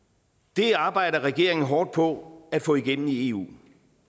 det arbejder regeringen hårdt på at få igennem i eu